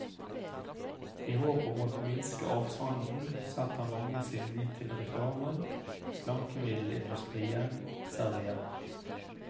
I håp om å minske avstanden, setter mange sin lit til reklamen slankemiddelindustrien serverer.